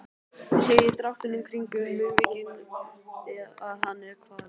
Sé á dráttunum kringum munnvikin að hann er kvalinn.